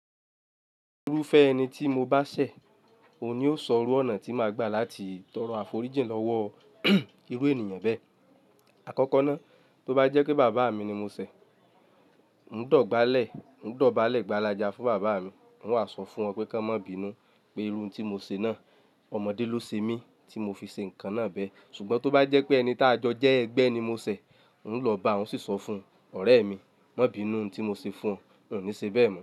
Irúfẹ́ ẹni tí mo bá ṣẹ̀, òun ni ó sọ irú ọ̀nà tí màá gbà láti tọrọ àforíjìn lọ́wọ́ irú ènìyàn bẹ́ẹ̀. Àkọ́kọ́ náà, tó bá jẹ́ pé bàbá mi ni mo ṣẹ̀, n dọ̀bálẹ̀, n dọ̀bálẹ̀ gbàlàjà fún bàbá mi. N wàá sọ fún ọ pé kí wọn má bínu pé iru n tí mo ṣẹ̀ náà, ọmọdé ló ṣe mí tí mo fi ṣe nǹkan náà bẹ́ẹ̀. Ṣùgbọ́n tó bá jẹ́ pé ẹni tá jọ jẹ́ ẹgbẹ́ ni mo ṣẹ̀, n lọ bá wọn sì sọ fún ọ̀rẹ́ mi, má bínu ohun tí mo ṣe fún ọ, n ò ní ṣe bẹ́ẹ̀ mọ́